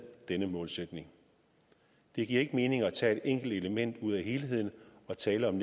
denne målsætning det giver ikke mening at tage et enkelt element ud af helheden og tale om